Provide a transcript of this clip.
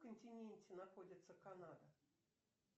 континенте находится канада